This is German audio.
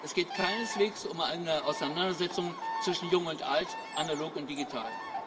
Es geht keineswegs um eine Auseinandersetzung zwischen Jung und Alt, Analog und Digital.